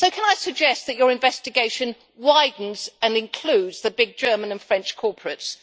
Can I suggest that your investigation widens and includes the big German and French corporates?